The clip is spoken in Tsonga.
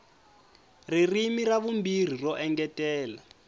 ririmi ra vumbirhi ro engetela